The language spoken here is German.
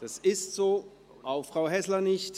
– Das ist der Fall, auch Frau Häsler nicht.